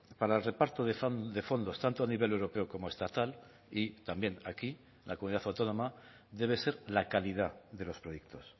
para el reparto de fondos tanto a nivel europeo como estatal y también aquí la comunidad autónoma debe ser la calidad de los proyectos